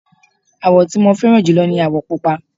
àwọ̀ tí mo fẹ́ràn jùlọ ní àwọ̀ pupa